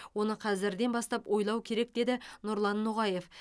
оны қазірден бастап ойлау керек деді нұрлан ноғаев